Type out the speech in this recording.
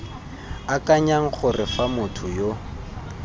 akanyang gore fa motho yo